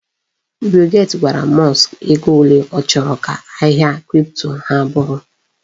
Bill gate gwara Musk ego ole ọ chọrọ ka ahịa kripto ha bụrụ.